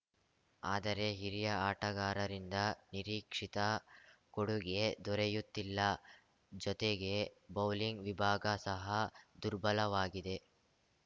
ಆದರೆ ಹಿರಿಯ ಆಟಗಾರರಿಂದ ನಿರೀಕ್ಷಿತ ಕೊಡುಗೆ ದೊರೆಯುತ್ತಿಲ್ಲ ಜೊತೆಗೆ ಬೌಲಿಂಗ್‌ ವಿಭಾಗ ಸಹ ದುರ್ಬಲವಾಗಿದೆ